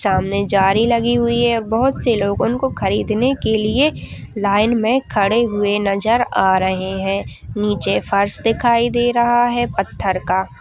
सामने जाली लागि हुई है बोहोत से लोग उनको खरीद ने के लिए लाइन मे खड़े हुए नजर आ रहे है नीचे फर्स दिखाई दे रहा है पत्थर का--